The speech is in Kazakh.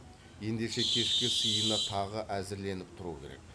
ендеше кешкі сыйына тағы әзірленіп тұру керек